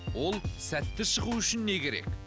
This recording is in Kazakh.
ол сәтті шығу үшін не керек